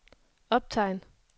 optegn